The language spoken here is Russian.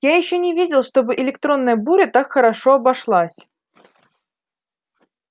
я ещё не видел чтобы электронная буря так хорошо обошлась